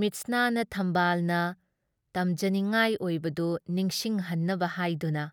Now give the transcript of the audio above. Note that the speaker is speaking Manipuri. ꯃꯤꯠꯁꯅꯥꯅ ꯈꯝꯕꯥꯜꯅ ꯇꯝꯖꯅꯤꯡꯉꯥꯏ ꯑꯣꯏꯕꯗꯨ ꯅꯤꯡꯁꯤꯡꯍꯟꯅꯕ ꯍꯥꯏꯗꯨꯅ